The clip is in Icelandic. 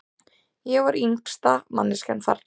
Ég var yngsta manneskjan þarna.